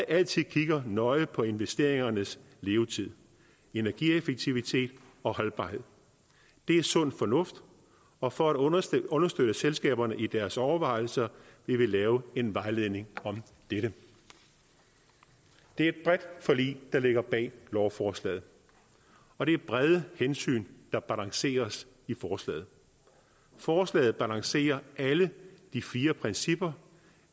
altid kigger nøje på investeringernes levetid energieffektivitet og holdbarhed det er sund fornuft og for at understøtte understøtte selskaberne i deres overvejelser vil vi lave en vejledning om dette det er et bredt forlig der ligger bag lovforslaget og det er brede hensyn der balanceres i forslaget forslaget balancerer alle de fire principper